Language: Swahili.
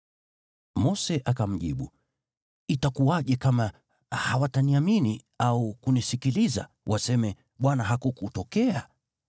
Mose akamjibu, “Itakuwaje kama hawataniamini au kunisikiliza, waseme, ‘ Bwana hakukutokea’?”